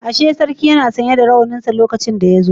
Ashe sarki yana sanye da rawaninsa lokacin da yazo